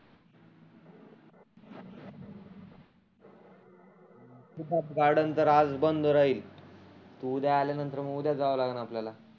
सिद्धार्थ गार्डनतर आज बंद राहिल. उद्या आल्यानंतर मग उद्याच जावा लागन आपल्याला.